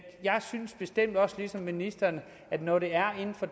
jeg bestemt også synes ligesom ministeren at når det er inden for